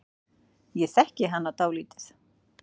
Ég þekki hana dálítið.